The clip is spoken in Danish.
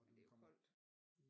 Men det er jo koldt